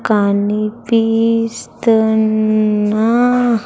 కనిపిస్తున్న.